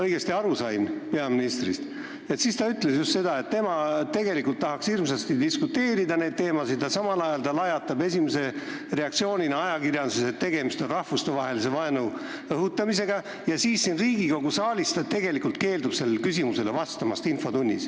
Kui ma sain peaministrist õigesti aru, siis ta ütles just seda, et tema tegelikult tahaks hirmsasti diskuteerida nendel teemadel, aga samal ajal lajatab ta esimese reaktsioonina ajakirjanduses, et tegemist on rahvustevahelise vaenu õhutamisega, ja siin Riigikogu saalis infotunnis ta tegelikult keeldub sellele küsimusele vastamast.